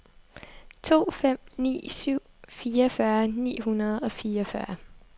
to fem ni syv fireogfyrre ni hundrede og fireogfyrre